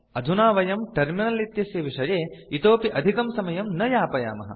अधुना वयम् टर्मिनल इत्यस्य विषये इतोपि अधिकं समयं न यापयामः